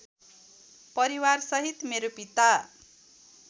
परिवारसहित मेरो पिता